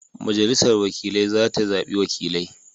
Majalisar wakilai za ta zabi wakilai.